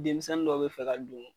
Denmisɛnnin dɔw be fɛ ka don